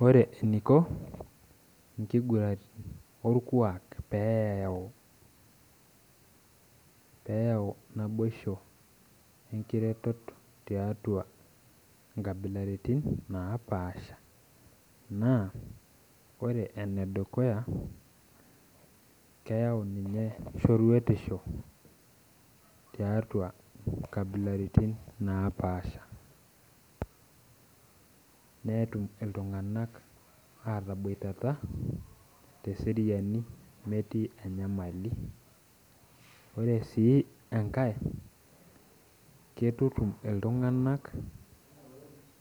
Ore eniko nkiguran orkuak peyau naboisho enkireto tiatua nkabilaitin napaasha na ore enedukuya keyau ninye shoruetishi tiatua nkabilaitin napaasha netum ltunganak ataboitata teseriani metiu enyamali ore enkae na keitutum ltunganak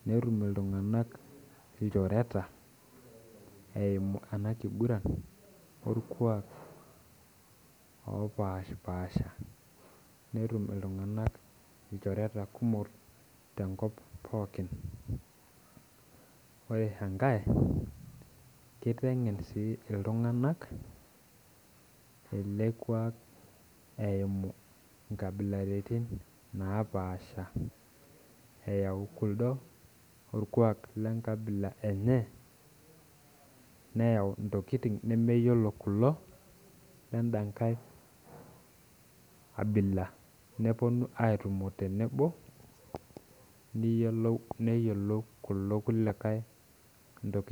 netum ltunganak lchorets eimu kuna kiguran napashipasha netum ltunganak ilchorets kumok ore enkae kitengen oleng ltunganak elekuak eimu nkabilaitin napaasha eyau kulo orkuak lenkabila enye neyau ntokitin nemeyiolo kulo wendankae abila neyiolou na irkuliekae ntokitin.